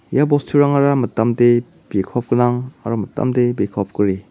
ia bosturangara mitamde bikop gnang aro mitamde bikop gri.